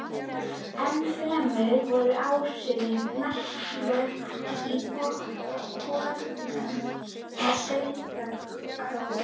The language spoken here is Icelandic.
Ennfremur voru áhrifin merkjanleg í borholum við Sauðárkrók.